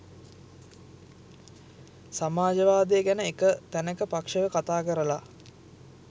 සමාජවාදය ගැන එක තැනක පක්ෂව කතා කරල